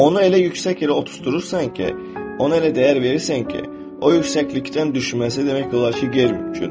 Onu elə yüksək yerə otuzdurursan ki, onu elə dəyər verirsən ki, o yüksəklikdən düşməsi demək olar ki, qeyri-mümkündür.